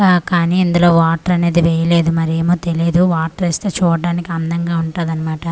ఆ కానీ ఇందులో వాటర్ అనేది వేయ్యలేదు మరేమో తెలీదు వాటర్ వేస్తే చూడడానికి అందంగా ఉంటాది అన్నమాట.